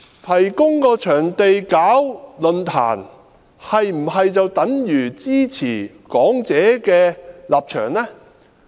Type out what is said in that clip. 提供場地舉辦論壇是否等於支持講者的立場？